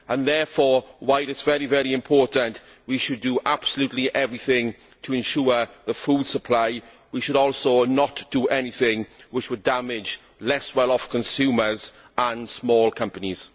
Therefore, while it is very important that we should do absolutely everything to ensure the food supply, we should not do anything which would damage less well off consumers and small companies.